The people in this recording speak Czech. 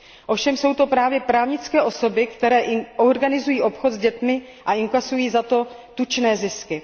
Ovšem jsou to právě právnické osoby, které organizují obchod s dětmi a inkasují za to tučné zisky.